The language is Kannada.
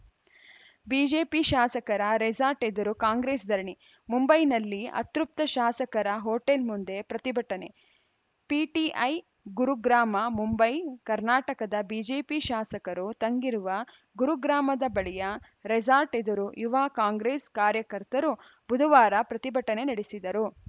ಬಿಜೆಪಿ ಶಾಸಕರ ರೆಸಾರ್ಟ್‌ ಎದುರು ಕಾಂಗ್ರೆಸ್‌ ಧರಣಿ ಮುಂಬೈನಲ್ಲಿ ಅತೃಪ್ತ ಶಾಸಕರ ಹೋಟೆಲ್‌ ಮುಂದೆ ಪ್ರತಿಭಟನೆ ಪಿಟಿಐ ಗುರುಗ್ರಾಮಮುಂಬೈ ಕರ್ನಾಟಕದ ಬಿಜೆಪಿ ಶಾಸಕರು ತಂಗಿರುವ ಗುರುಗ್ರಾಮದ ಬಳಿಯ ರೆಸಾರ್ಟ್‌ ಎದುರು ಯುವ ಕಾಂಗ್ರೆಸ್‌ ಕಾರ್ಯಕರ್ತರು ಬುಧವಾರ ಪ್ರತಿಭಟನೆ ನಡೆಸಿದರು